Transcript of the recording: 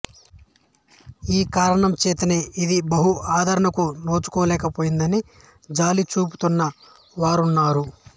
ఈ కారణం చేతనే ఇది బహు ఆదరణకు నోచుకోలేకపోయిందని జాలి చూపుతున్న వారున్నారు